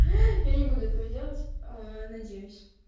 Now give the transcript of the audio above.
я не буду этого делать ээ надеюсь